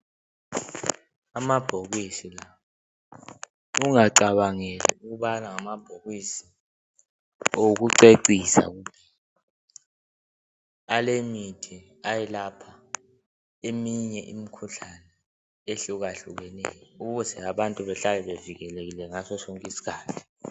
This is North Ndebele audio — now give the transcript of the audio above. Amabhokisi la, ungacabangeli ukubana ngamabhokisi okucecisa kuphela. Alemithi, ayelapha eminye imikhuhlane ehlukahlukeneyo ukuze abantu behlale bevikelekile ngaso sonke isikhathi.